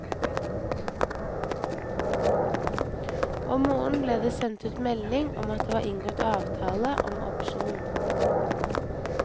Om morgenen ble det sendt ut melding om at det var inngått avtale om opsjon.